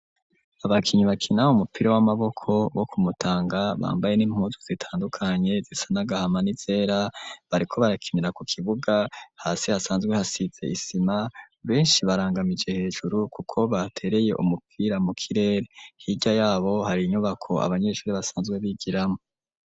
Abakinyi bakina umupira w'amaboko wo ku Mutanga bambaye n'impuzu zitandukanye zisa n'agahama n'izera bariko barakinira ku kibuga hasi hasanzwe hasize isima beshi barangamije hejuru kuko batereye umupira mu kirere hirya yabo hari inyubako abanyeshuri basanzwe bigiramwo.